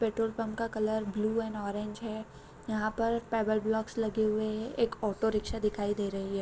Petrol pump का colour blue and orange है यहाँ पर पेबल ब्लॉक्स लगे हुए है एक ऑटो रिक्शा दिखाई दे रही है ।